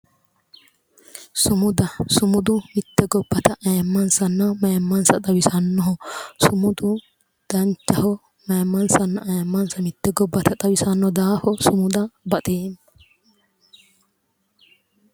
sumuda sumudu mitte gobbata ayiimmansanno mayiimmansa xawisannoho sumudu danchaho mitte gobbata ayiimmansanna mayiimmansa xawisanno daafo sumuda baxeemma.